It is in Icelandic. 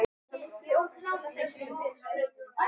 Hvernig hefur vinnsla bókanna breyst?